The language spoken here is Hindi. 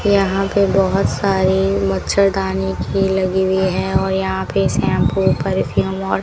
यहां पे बहुत सारी मच्छरदानी की लगी हुई है और यहां पे शैंपू परफ्यूम